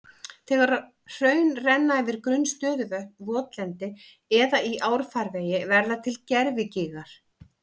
Þegar hraun renna yfir grunn stöðuvötn, votlendi eða í árfarvegi verða til gervigígar.